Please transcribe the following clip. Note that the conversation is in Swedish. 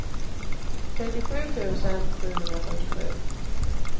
trettiosju tusen sjuhundrafyrtiosju